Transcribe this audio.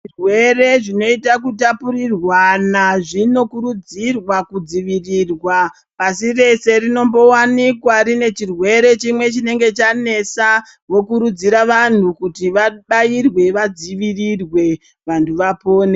Zvirwere zvinota kutapurirwana zvinokurudzirwa kudzivirirwa. Pasi rese rinombovanikwa rine chirwere chimwe chinenge chanesa vokutudzira vantu kuti vabairwe vadzivirirwe, vantu vapone.